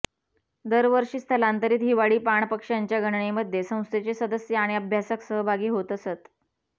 दरवर्षी स्थलांतरित हिवाळी पाणपक्ष्यांच्या गणनेमध्ये संस्थेचे सदस्य आणि अभ्यासक सहभागी होत असत